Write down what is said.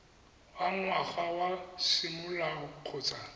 wa ngwana wa semolao kgotsa